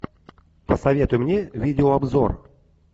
посоветуй мне видеообзор